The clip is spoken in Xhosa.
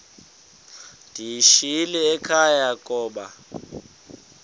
ndiyishiyile ekhaya koba